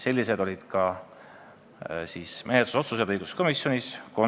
Sellised olid õiguskomisjonis tehtud konsensuslikud menetlusotsused.